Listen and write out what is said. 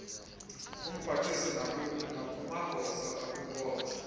kumphathiswa nakumagosa akwinkonzo